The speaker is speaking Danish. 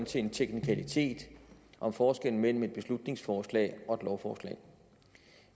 til en teknikalitet om forskellen mellem et beslutningsforslag og et lovforslag